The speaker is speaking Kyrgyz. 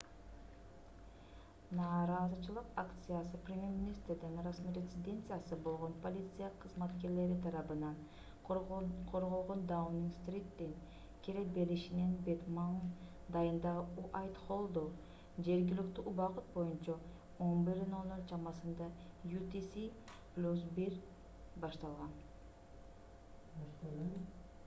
нааразычылык акциясы премьер-министрдин расмий резиденциясы болгон полиция кызматкерлери тарабынан корголгон даунинг-стриттин кире беришинин бет маңдайындагы уайтхоллдо жергиликтүү убакыт боюнча 11:00 чамасында utc + 1 башталган